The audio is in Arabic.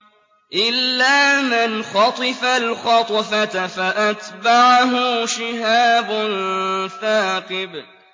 إِلَّا مَنْ خَطِفَ الْخَطْفَةَ فَأَتْبَعَهُ شِهَابٌ ثَاقِبٌ